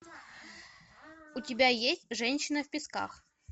у тебя есть женщина в песках